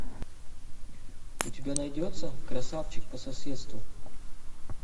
у тебя найдется красавчик по соседству